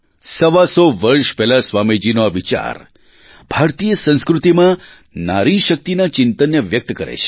સવા સો વર્ષ પહેલાં સ્વામીજીનો આ વિચાર ભારતીય સંસ્કૃતિમાં નારી શક્તિના ચિંતનને વ્યક્ત કરે છે